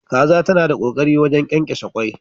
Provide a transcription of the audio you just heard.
Kaza ta na da kokari wajen kyankyashe kwai.